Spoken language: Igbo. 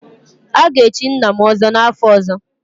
A ga-echi nna m ọzọ n'afọ ọzọ